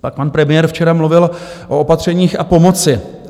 Pak pan premiér včera mluvil o opatřeních a pomoci.